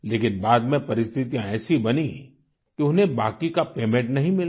लेकिन बाद में परिस्थितियां ऐसी बनी कि उन्हें बाकी का पेमेन्ट नहीं मिला